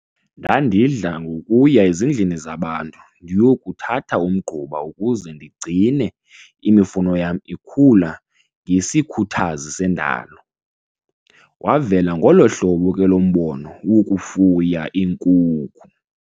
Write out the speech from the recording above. Ndandidla ngokuya ezindlini zabantu ndiyokuthatha umgquba ukuze ndigcine imifuno yam ikhula ngesikhuthazi sendalo. Wavela ngolo hlobo ke lo mbono wokufuya iinkukhu.